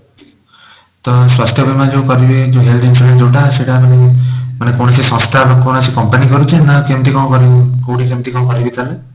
ତ ସ୍ୱାସ୍ଥ୍ୟ ବୀମା ଯୋଉ କରିବେ ଯୋଉ health insurance ଯୋଉଟା ସେଇଟା ମାନେ ମାନେ କୌଣସି ସଂସ୍ଥା ବା କୌଣସି company କରୁଛି ନ କେମିତି କଣ କରିବି କୋଉଠି କେମିତି କଣ କରିବି ତାହେଲେ?